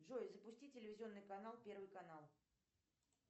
джой запусти телевизионный канал первый канал